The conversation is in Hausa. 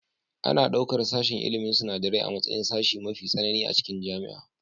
Ana ɗaukar sashen ilmin sinadarai a matsayin sashe mafi tsanani a cikin jami'a